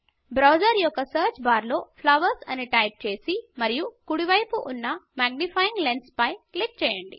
browser యొక్క search బార్లో flowers అని టైప్ చేసి మరియు కుడి వైపు ఉన్న మాగ్నిఫైయ్యింగ్ లెన్స్ పై క్లిక్ చేయండి